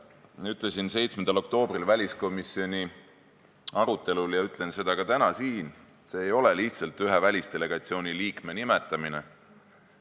Ütlesin 7. oktoobril väliskomisjoni arutelul ja ütlen ka täna siin, et see ei ole lihtsalt ühe välisdelegatsiooni liikme nimetamine.